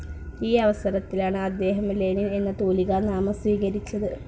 ഈ അവസരത്തിലാണ്‌ അദ്ദേഹം ലെനിൻ എന്ന തൂലികാ നാമം സ്വീകരിച്ചത്‌.